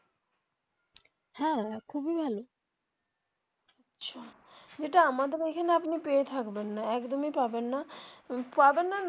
হ্যা খুবই ভালো যেটা আমাদের এখানে আপনি পেয়ে থাকবেন না একদমই পাবেন না পাবেন না.